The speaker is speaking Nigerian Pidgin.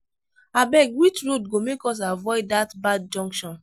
abeg which road go make us avoid dat bad junction